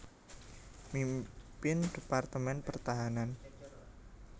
Mimpin Departemen Pertahanan